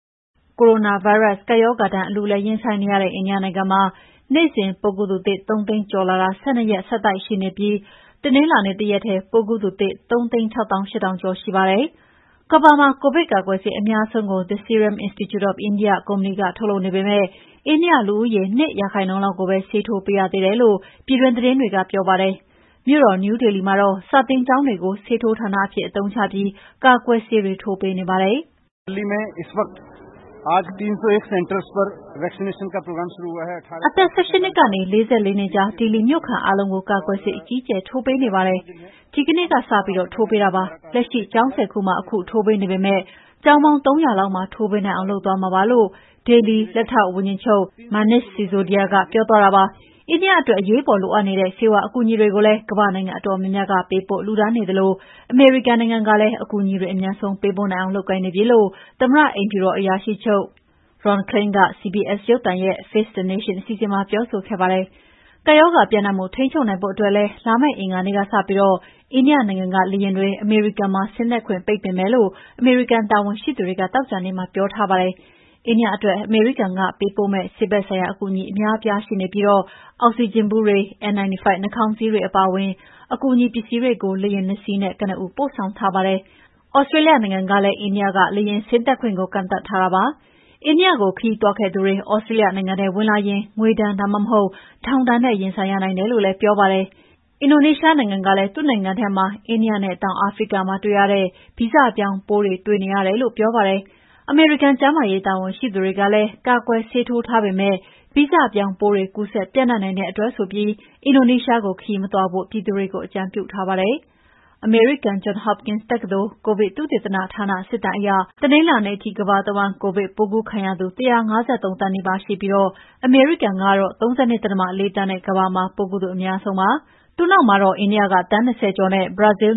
ကိုရိုနာဗိုင်းရပ် ကပ်ရောဂါဒဏ်ကို အလူးအလဲ ရင်ဆိုင်နေရတဲ့ အိန္ဒိယနိုင်ငံမှာနေ့စဉ် ၃ သိန်းကျော်လာတာ ၁၂ ရက်ဆက်တိုက်ရှိနေပြီး တနင်္လာနေ့တရက်ထဲ ပိုးကူးသူသစ် ၃သိန်း၆ သောင်း ၈ ထောင်ကျော်ရှိပါတယ်။ ကမ္ဘာမှာ ကိုဗစ်ကာကွယ်ဆေးအများဆုံးကို The Serum Institute အိန္ဒိယကုမ္ပဏီက ထုတ်လုပ်နေပေမယ့်အိန္ဒိယ လူဦးရေ ၂ % ကိုပဲဆေးထိုးပေးရသေးတယ်လို့ ပြည်တွင်းသတင်းတွေကပြောပါတယ်။ မြို့တော်နယူးဒေလီမှာတော့ စာသင်ကျောင်းတွေကို ဆေးထိုးဌာနအဖြစ်အသုံးချပြီး ကာကွယ်ဆေးထိုးပေးနေပါတယ်။ “ အသက် ၁၈ ကနေ ၄၄ နှစ်ကြား ဒေလီမြို့ခံအားလုံးကို ကာကွယ်ဆေး အကြီးအကျယ် ထိုးပေးနေပါတယ်။ ဒီကနေ့ကစပြီးထိုးပေးတာပါ။လက်ရှိ ကျောင်း ၁၀ ခုမှာထိုးပေးနေပေမယ့် ကျောင်းပေါင်း ၃ ရာလောက်မှာ ထိုးပေးနိုင်အောင် လုပ်သွားမှာပါ " လို့ ဒေလီ လက်ထောက်ဝန်ကြီးချုပ် MANISH SISODIA ကပြောသွားတာပါ။ အိန္ဒိယအတွက် အရေးပေါ်လိုအပ်နေတဲ့ ဆေးဝါးအကူအညီတွေကို ကမ္ဘာ့နိုင်ငံအတော်များများကပေးပို့လှုဒါန်းနေသလို အမေရိကန်နိုင်ငံကလည်း အကူအညီတွေ အမြန်ဆုံးပေးပို့နိုင်အောင်လုပ်ကိုင်နေပြီလို့ သမ္မတ အိမ်ဖြူတော်အရာရှိချုပ် Ron Klain က CBS ရုပ်သံရဲ့ “Face the Nation” အစီအစဉ်မှာပြောဆိုခဲ့ပါတယ်။ ကပ်ရောဂါပြန့်နှံ့မှု ထိန်းချုပ်နိုင်ဖို့အတွက်လည်း လာမယ့် အင်္ဂါနေ့ကစပြီး အိန္ဒိယနိုင်ငံက လေယာဉ်တွေ အမေရိကန်မှာ ဆင်းသက်ခွင့် ပိတ်ပင်မယ်လို့ အမေရိကန်တာဝန်ရှိသူတွေ သောကြာနေ့ကပြောဆိုထားပါတယ်။ အိန္ဒိယအတွက် အမေရိကန်ကပေးပို့မယ့် ဆေးဖက်ဆိုင်ရာအကူအညီအများအပြားရှိနေပြီး အောက်ဆီဂျင်ဗူးတွေ၊ N95နှာခေါင်းစည်းတွေ အပါအဝင် အကူအညီတွေပစ္စည်းတွေကို လေယာဉ်နှစ်စီးနဲ့ ကနဦးပို့ဆောင်ထားပါတယ်။ သြစတေးလျနိုင်ငံကလည်း အိန္ဒိယက လေယာဉ်ဆင်းသက်မှုကို ကန့်သတ်ထားတာပါ။ အိန္ဒိယကိုခရီးသွားခဲ့သူတွေ သြစတေးလျနိုင်ငံထဲဝင်လာရင် ငွေဒဏ် ဒါမှမဟုတ် ထောင်ဒဏ်နဲ့ ရင်ဆိုင်ရနိုင်တယ်လိ့ုပြောပါတယ်။ အင်ဒိုနီးရှားနိုင်ငံကလည်း သူ့နိုင်ငံထဲမှာ အိန္ဒိယနဲ့ တောင်အာဖရိက မှာတွေ့ရတဲ့ ဗီဇပြောင်းပိုးတွေတွေ့ရတယ်လို့ပြောပါတယ်။ အမေရိကန်ကျန်းမာရေးတာဝန်ရှိသူတွေကလည်း ကာကွယ်ဆေးထိုးထားပေမယ့် ဗီဇပြောင်းပိုးတွေ ကူးစက်ပြန့်နှံ့နိုင်တဲ့အတွက် အင်ဒိုနီးရှားကို ခရီးမသွားဖို့ ပြည်သူတွေကိုအကြံပြုထားပါတယ်။ အမေရိကန် Johns Hopkins တက္ကသိုလ် ကိုဗစ်သုတေသနဌာန စစ်တမ်းအရ တနင်္လာနေ့ထိ ကမ္ဘာတဝှမ်းကိုဗစ်ကူးခံရသူ ၁၅၃ သန်းနီးပါးရှိပြီး အမေရိကန်ကတော့ ၃၂.၄ သန်းနဲ ကမ္ဘာမှာပိုးကူးသူအများဆုံးပါ။ သူ့နောက်မှာတော့ အိန္ဒိယက သန်း ၂၀ ဝန်းကျင်နဲ့ ဘရာဇီးလ်